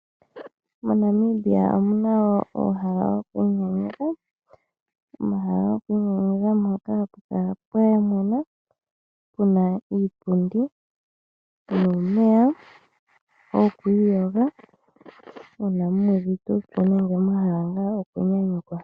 MoNamibia omuna woo uuhala wokwiinyanyudha, omahala gokwiinyanyudha mpoka hapu kala pwa mwena pu na iipundi nuumeya wokwiiyoga uuna mu uvite uupyu nenge mwa hala ngaa okunyanyukwa.